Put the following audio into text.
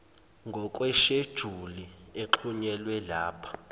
ngokwesheduli exhunyelwe lapha